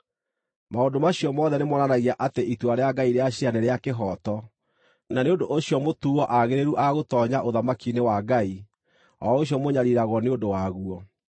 Maũndũ macio mothe nĩmonanagia atĩ itua rĩa Ngai rĩa ciira nĩ rĩa kĩhooto, na nĩ ũndũ ũcio mũtuuo aagĩrĩru a gũtoonya ũthamaki-inĩ wa Ngai, o ũcio mũnyariiragwo nĩ ũndũ waguo.